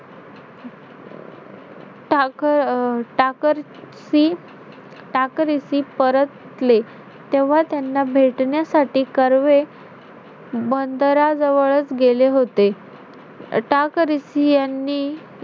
टाक~ अं टाकरिसी~ टाकरिसी परतले. तेव्हा त्यांना भेटण्यासाठी कर्वे बंदराजवळ गेले होते. टाकरिसी यांनी,